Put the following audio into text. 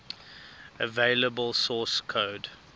available source code